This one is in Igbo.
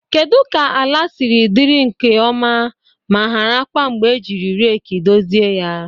Kedu ka ala siri dị nke ọma ma hara kwa mgbe ejiri reeki dozie ya?